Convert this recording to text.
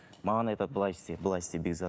маған айтады былай істе былай істе бекзат